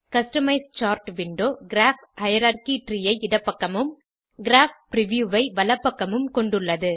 customise chart window graph hierarchy tree ஐ இடப்பக்கமும் graph preview ஐ வலப்பக்கமும் கொண்டுள்ளது